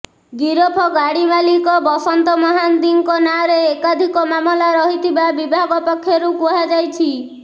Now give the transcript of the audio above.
ଗିରଫ ଗାଡି ମାଲିକ ବସନ୍ତ ମହାନ୍ତିଙ୍କ ନାଁରେ ଏକାଧିକ ମାମଲା ରହିଥିବା ବିଭାଗ ପକ୍ଷରୁ କୁହାଯାଇଛି